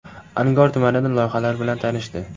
Angor tumanida loyihalar bilan tanishdi .